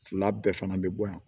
Fila bɛɛ fana bɛ bɔ yan